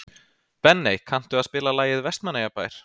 Benney, kanntu að spila lagið „Vestmannaeyjabær“?